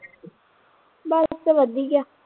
ਬਸ ਵਧੀਆ